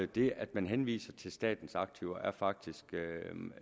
det at man henviser til statens aktiver er faktisk